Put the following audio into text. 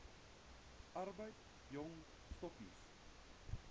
arbeid jong stokkies